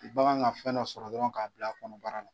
bagan ka fɛn dɔ sɔrɔ dɔrɔn k'a bila a kɔnɔbara la.